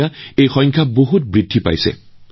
আজি এই সংখ্যা যথেষ্ট বৃদ্ধি পাইছে